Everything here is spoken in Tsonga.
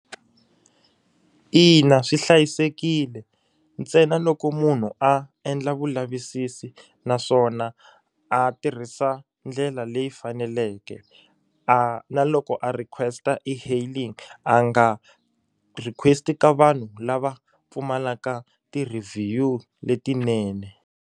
Ina swi hlayisekile ntsena loko munhu a endla vulavisisi naswona a tirhisa ndlela leyi faneleke a na loko a request e-hailing a nga request-i ka vanhu lava pfumalaka ti-review-u letinene.